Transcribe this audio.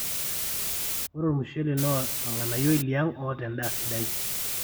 ore olmushele naa olnganayioi liang oota endaa sidai